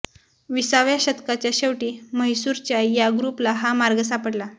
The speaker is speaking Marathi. विसाव्या शतकाच्या शेवटी म्हैसूरच्या या ग्रूपला हा मार्ग सापडला